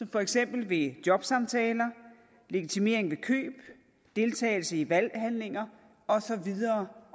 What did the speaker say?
for eksempel jobsamtaler legitimering ved indkøb deltagelse i valghandlinger og så videre